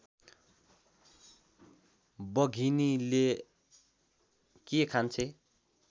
बघिनीले के खान्छे